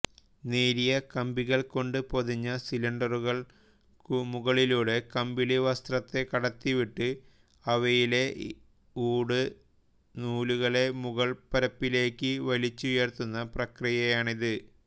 നേരിയ കമ്പികൾ കൊണ്ട് പൊതിഞ്ഞ സിലിണ്ടറുകൾക്കു മുകളിലൂടെ കമ്പിളി വസ്ത്രത്തെ കടത്തിവിട്ട് അവയിലെ ഊട് നൂലുകളെ മുകൾപ്പരപ്പിലേക്ക് വലിച്ചുയർത്തുന്ന പ്രക്രിയയാണിത്